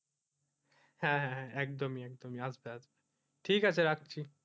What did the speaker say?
হ্যাঁ হ্যাঁ একদমই একদমই ঠিক আছে রাখছি,